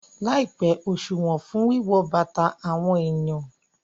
Láìpẹ́, òṣùwọ̀n fún wíwọn bàtà àwọn èèyàn